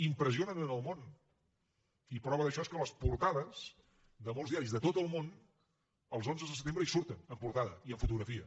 impressionen el món i prova d’això és que les portades de molts diaris de tot el món els onze de setembre hi surten en portada i amb fotografia